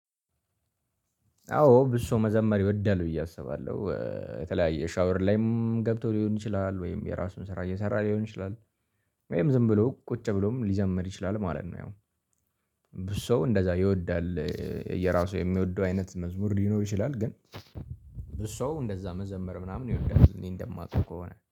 አዎ ብዙ ሰው መዘመር ይወዳል ብዬ አስባለሁ የተለያየ ሻወር ላይም ገብቶ ሊሆን ይችላል ወይም የራሱን ስራ እየሰራ ሊሆን ይችላል። ወይም ዝም ብሎ ቁጭ ብሎም ሊዘመር ይችላል ማለት ነው። ያው ብዙ ሰው እንደዛ ይወዳል። የራሱ የሚወደው አይነት መዝሙር ሊኖር ይችላል ግን ብዙ ሰው እንደዛ መዘመር ምናምን ይወዳል እኔ እንደማውቀው ከሆነ